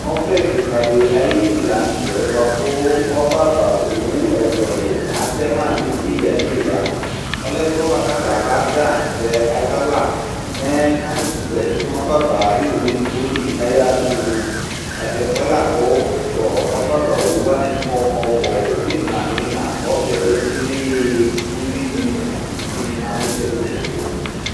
Ɔbɛ kikadi ayinu la nutɛ buaku ɔbɛava owu ɛluɛlu atɛma neya neya Ɔlɛ ɛfuɛ buaku alu abaza tɛ azawla mɛɛ akutu zati nɔbɛava ayu owu edigboli yatulu Tatɛfuɛ laku tu ɔbɛavawu wani kɔ ɔbuɔbu imla niyina kɔbɛ lɛ tselee Uwuini ni itsuni ma nitsɛdi tsɛdi